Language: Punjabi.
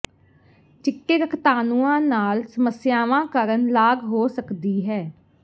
ਚਿੱਟੇ ਰਕਤਾਣੂਆਂ ਨਾਲ ਸਮੱਸਿਆਵਾਂ ਕਾਰਨ ਲਾਗ ਹੋ ਸਕਦੀ ਹੈ